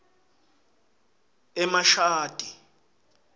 emashadi